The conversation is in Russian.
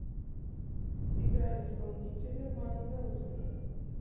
играй исполнителя ванвелзен